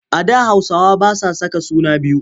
A da Hausawa ba sa saka suna biyu.